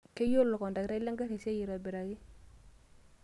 Keyiolo olkondaktai lengari esiai aitobiraki.